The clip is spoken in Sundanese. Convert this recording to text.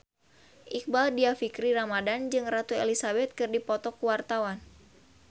Iqbaal Dhiafakhri Ramadhan jeung Ratu Elizabeth keur dipoto ku wartawan